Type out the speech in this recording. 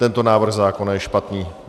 Tento návrh zákona je špatný.